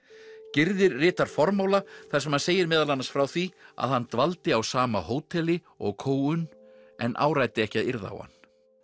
gyrðir ritar formála þar sem hann segir meðal annars frá því að hann dvaldi á sama hóteli og Ko un en áræddi ekki að yrða á hann